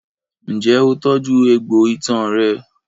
Ǹjẹ́ o tọ́jú egbò itan rẹ?